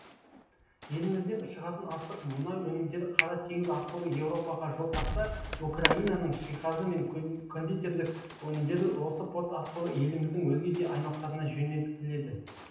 елімізден шығатын астық мұнай өнімдері қара теңіз арқылы еуропаға жол тартса украинаның жиһазы мен кондитерлік өнімдері осы порт арқылы еліміздің өзге де аймақтарына жөнелтіледі